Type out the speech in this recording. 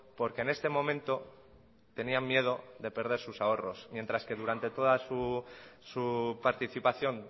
porque en este momento tenían miedo de perder sus ahorros mientras que durante toda su participación